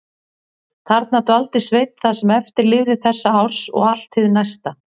Þarna dvaldi Sveinn það sem eftir lifði þessa árs og allt hið næsta.